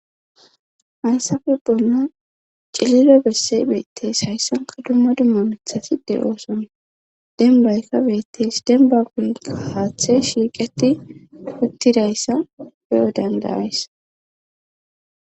HAysape bollan celilo bessey beetteys hayssanka dumma dumma mithaside ooson denbaykka beetteys denba guynka haaththe shiiqeti uttidayssa beyo dandayays